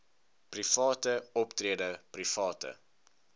private optrede private